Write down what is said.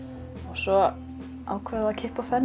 svo ákváðum við að kippa fönn